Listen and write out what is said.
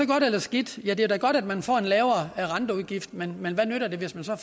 godt eller skidt ja det er da godt at man får en lavere renteudgift men hvad nytter det hvis man så